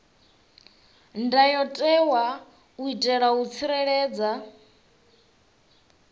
ndayotewa u itela u tsireledza